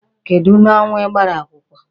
Kedụ n'ọnwa ị gbara akwụkwọ?